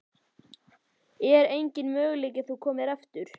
Er enginn möguleiki á að þú komir aftur?